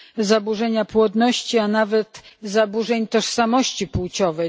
zaburzenia płodności, a nawet zaburzenia tożsamości płciowej.